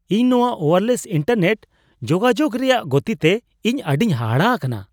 ᱤᱧ ᱱᱚᱣᱟ wireless internet ᱡᱳᱜᱟᱡᱳᱜ ᱨᱮᱭᱟᱜ ᱜᱚᱛᱤᱛᱮ ᱤᱧ ᱟᱹᱰᱤ ᱦᱟᱦᱟᱲᱟ ᱟᱠᱟᱱᱟ ᱾